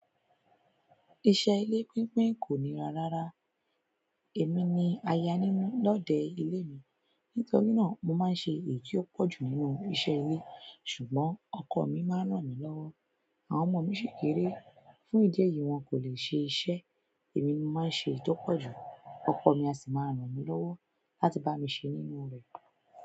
Iṣẹ́ ilé pínpín kò ní rárá. Èmi ni aya nínú lọ́dẹ ilé mi. Nítorí náà, mo máa ń ṣe èyí tó pọ̀jù nínú iṣẹ́ ilé ṣùgbọ́n ọkọ mi máa ń ràn mí lọ́wọ́. Àwọn ọmọ mi sì kéré fún ìdí èyí wọn kò lè ṣe iṣẹ́. Èmi ni mo máa ń ṣe èyí tó pọ̀jù, ọkọ mi a sì máa ń ràn mí lọ́wọ́ láti bá mi ṣe nínú rẹ̀.